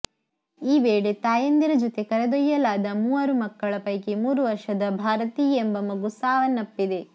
ಈ ವೇಳೆ ತಾಯಂದಿರ ಜೊತೆ ಕರೆದೊಯ್ಯಲಾದ ಮೂವರು ಮಕ್ಕಳ ಪೈಕಿ ಮೂರು ವರ್ಷದ ಭಾರತಿ ಎಂಬ ಮಗು ಸಾವನಪ್ಪಿದೆ